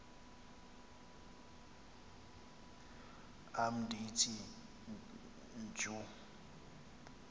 am ndithi tjhu